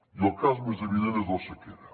i el cas més evident és la sequera